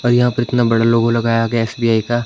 और यहां पर इतना बड़ा लोगो लगाया गया एस_बी_आई का।